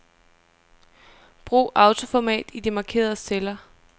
Brug autoformat i de markerede celler.